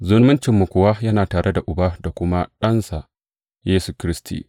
Zumuncinmu kuwa yana tare da Uba da kuma Ɗansa, Yesu Kiristi.